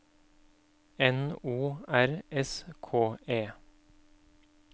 N O R S K E